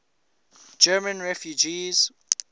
german refugees